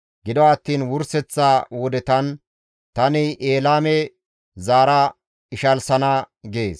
«Gido attiin wurseththa wodetan tani Elaame zaara ishalsana» gees.